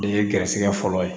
Ye garisɛgɛ fɔlɔ ye